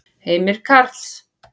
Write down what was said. Heimir Karls.